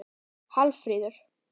Hallfríður